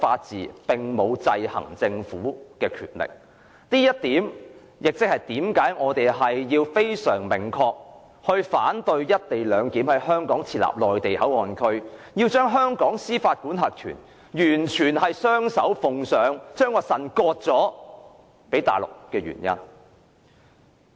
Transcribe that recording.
這是其中一個原因解釋為何我們明確反對在香港設立"一地兩檢"內地口岸區，將香港司法管轄權雙手奉上，把腎臟割予內地。